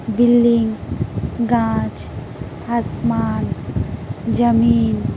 building कांच आसमान जमीन --